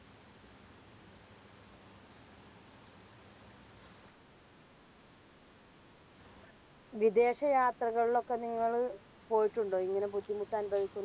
വിദേശ യാത്രകളിലൊക്കെ നിങ്ങള് പോയിട്ടുണ്ടോ ഇങ്ങനെ ബുദ്ധിമുട്ട് അനുഭവിക്കുന്ന